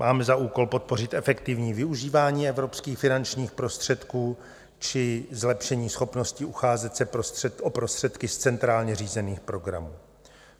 Máme za úkol podpořit efektivní využívání evropských finančních prostředků či zlepšení schopnosti ucházet se o prostředky z centrálně řízených programů.